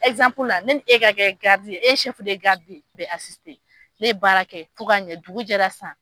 ne ni e ka kɛ e ye ye ne ye baara kɛ fo ka ɲɛ dugu jɛra san